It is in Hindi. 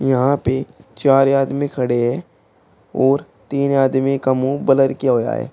यहां पे चार आदमी खड़े है और तीन आदमी का मुंह ब्लर किया हुआ है।